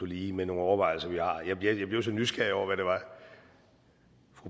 lige med nogle overvejelser vi har jeg blev blev så nysgerrig over